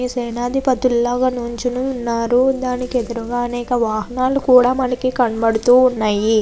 సేనది పతులాగా నిలోచొని ఉనారు. దానికి ఎదురుగా అనక రకాల వాహనాలు కనపడుతూ ఉన్నాయ్.